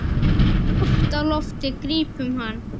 Oft á lofti grípum hann.